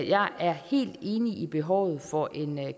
jeg er helt enig i behovet for en